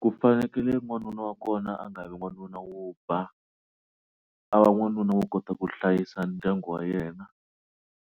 Ku fanekele n'wanuna wa kona a nga vi n'wanuna wo ba a va n'wanuna wo kota ku hlayisa ndyangu wa yena